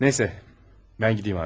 Neyse, mən gediyim artıq.